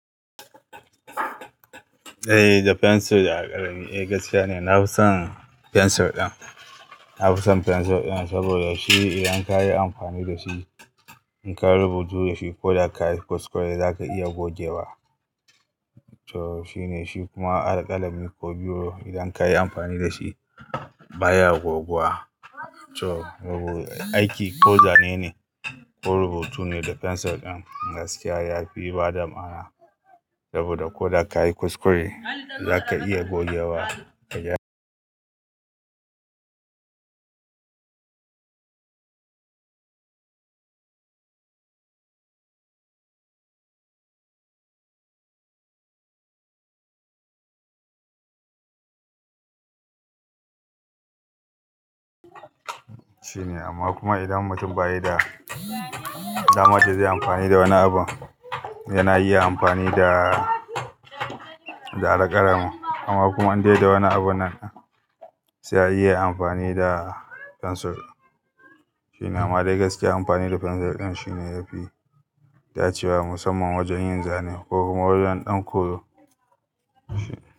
Eh da pencir da alkalami, eh gaskiyane nafison pencir din. Na fi son fensir ɗin saboda shi idan ka yi amfani da shi, in ka rubutu da shi ko da ka yi kuskure za ka iya gogewa. To shine shi kuma alkalami ko biro idan ka yi amfani da shi baya goguwa. To aiki ko zane ne ko rubutu ne da fensir ɗin gaskiya ya fi bada ma'ana saboda ko da ka yi kuskure za ka iya gogewa. Shine amma kuma idan mutum ba yi da damar da zai yi amfani da wani abu, yana iya amfani da, da alkalami. Amma kuma in dai da wani abun nan sai ya iya amfani da fensir. Shine amma dai gaskiya amfani da fensir ɗin shine yafi dacewa musamman wajen yin zane ko kuma wajen ɗanƙoyo.